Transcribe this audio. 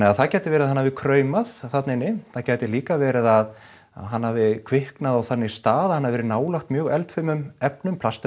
að það gæti verið að hann hafi kraumað þarna inni það gæti líka verið að hann hafi kviknað á þannig stað að hann hafi verið nálægt mjög eldfimum efnum plast